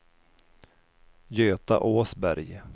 Göta Åsberg